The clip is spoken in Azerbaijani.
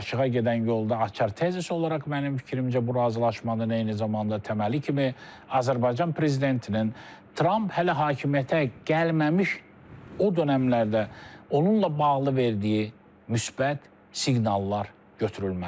Barışığa gedən yolda açar tezis olaraq mənim fikrimcə bu razılaşmada eyni zamanda təməli kimi Azərbaycan prezidentinin Tramp hələ hakimiyyətə gəlməmiş o dönəmlərdə onunla bağlı verdiyi müsbət siqnallar götürülməlidir.